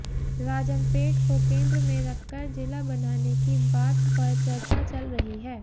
राजमपेट को केंद्र में रखकर जिला बनाने की बात पर चर्चा चल रही है